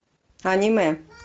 аниме